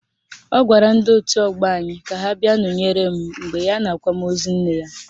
Ọ gwara ndị otu ọgbọ anyị ka ha bịa nọnyere m mgbe ya n'akwamozu nne ya